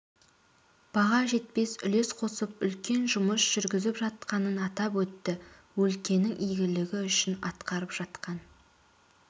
баға жетпес үлес қосып үлкен жұмыс жүргізіп жатқанын атап өтті өлкенің игілігі үшін атқарып жатқан